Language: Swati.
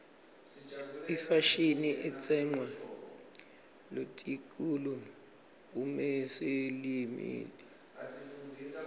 ifashini itsenqwa luakitulu umeyeseyilimi